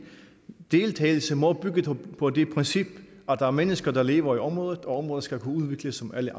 deltagelse må bygge på det princip at der er mennesker der lever i området og at området skal kunne udvikles som alle